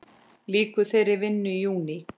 Lýkur þeirri vinnu í júní.